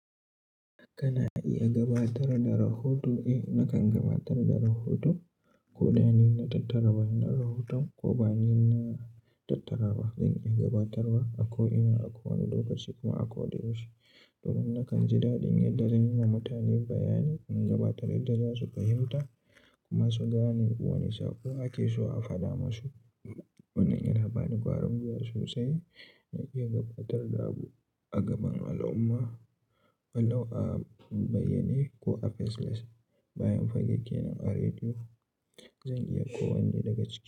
Kana iya gabatar da rahoto? Eh, nakan gabatar da rahoto, ko da ni na tattara wannan rahoton, ko ba ni na tattara ba. Zan iya gabatarwa a ko ina, a kowane lokaci kuma a koda yaushe. Domin nakan ji daɗin yadda zan yi ma mutane bayani, in gabatar, yadda za su fahimta, kuma su gane wane saƙo ake so a faɗa masu. Wannan yana bani ƙwarin gwiwa sosai, na iya gabatar da abu a gaban al'umma, walau a bayyane ko a face-less, bayan fage kenan a rediyo, zan iya ko wanne daga cikin.